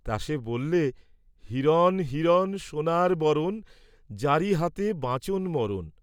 তা সে বল্লে, হিরণ হিরণ সোণার বরণ, যাঁরি হাতে বাঁচন মরণ।